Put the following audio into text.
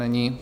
Není.